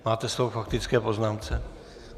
Máte slovo k faktické poznámce.